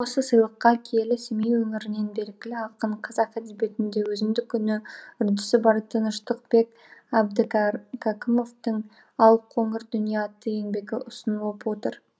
осы сыйлыққа киелі семей өңірінен белгілі ақын қазақ әдебиетінде өзіндік үні үрдісі бар тыныштықбек әбдікәркәкімовтің алқоңыр дүние атты еңбегі ұсынылып отыр